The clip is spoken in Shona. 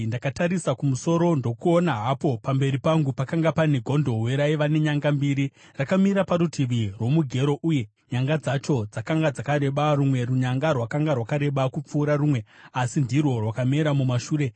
Ndakatarisa kumusoro, ndokuona hapo pamberi pangu pakanga pane gondobwe raiva nenyanga mbiri, rakamira parutivi rwomugero, uye nyanga dzacho dzakanga dzakareba. Rumwe runyanga rwakanga rwakareba kupfuura rumwe asi ndirwo rwakamera mumashure.